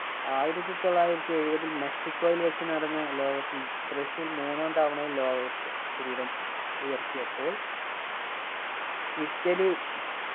ആയിരത്തി തൊള്ളായിരത്തി എഴുവതിൽ മെക്സിക്കോയിൽ വെച്ച് നടന്ന ലോക cup ൽ ബ്രസീൽ മൂന്നാം തവണയും ലോക cup കിരീടം ഉയർത്തിയപ്പോൾ ഇറ്റലി